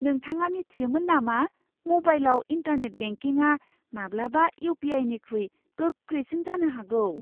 नोंथाङा मिथियोमोन नामा म'बाइलाव इन्टारनेट बेंकिंआ माब्लाबा इउ.पि.आइ.निख्रुइ गोख्रैसिन जानो हागौ!